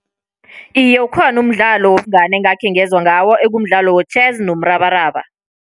Iye, ukhona umdlalo wobungani engakhe ngezwa ngawo, ekumdlalo wetjhezi nomrabaraba.